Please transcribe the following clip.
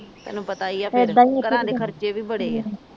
ਤੈਨੂੰ ਪਤਾ ਹੀ ਆ ਫੇਰ ਘਰਾ ਦੇ ਖਰਚੇ ਵੀ ਬੜੇ ਆ